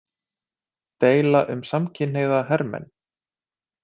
Deila um samkynhneigða hermenn